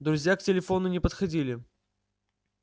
друзья к телефону не подходили